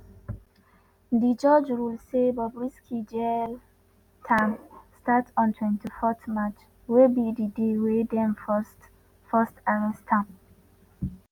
di judge rule say bobrisky jail term start on 24 march wey be di day wey dem first first arrest am.